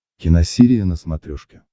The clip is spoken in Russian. киносерия на смотрешке